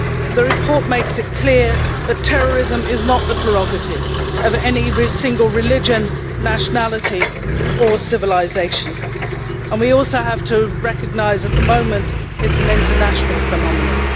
The report makes it clear that terrorism is not the prerogative of any single religion, nationality or civilisation, and we also have to recognise at the moment that it is an international phenomenon.